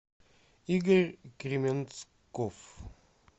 игорь кременцков